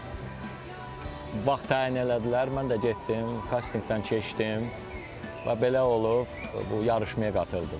Elə vaxt təyin elədilər, mən də getdim, kastinqdən keçdim və belə olub bu yarışmaya qatıldım.